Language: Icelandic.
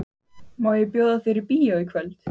Má ég bjóða þér í bíó í kvöld?